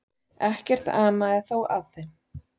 Ekkert amaði þó að þeim.